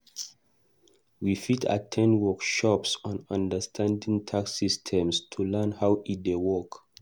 We fit at ten d workshops on understanding tax systems to learn how e dey work.